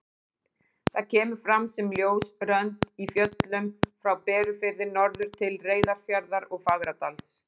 Það kemur fram sem ljós rönd í fjöllum frá Berufirði norður til Reyðarfjarðar og Fagradals.